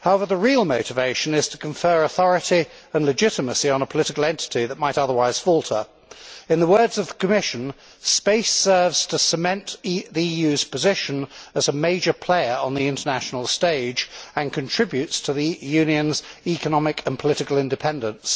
However, the real motivation is to confer authority and legitimacy on a political entity that might otherwise falter. In the words of the Commission, space serves to cement the EU's position as a major player on the international stage and contributes to the Union's economic and political independence'.